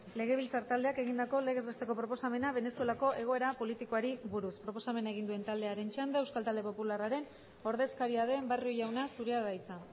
legebiltzar taldeak egindako legez besteko proposamena venezuelako egoera politikoari buruz proposamena egin duen taldearen txanda euskal talde popularraren ordezkaria den barrio jauna zurea da hitza